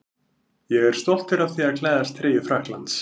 Ég er stoltur af því að klæðast treyju Frakklands.